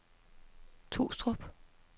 Trustrup